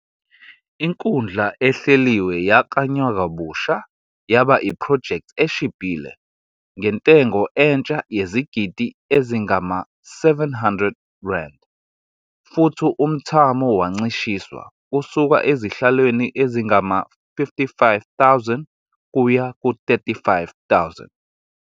Inkundla ehleliwe yaklanywa kabusha yaba iphrojekthi eshibhile, ngentengo entsha yezigidi ezingama-R700, futhi umthamo wancishiswa kusuka ezihlalweni ezingama-55,000 kuya ku-35,000.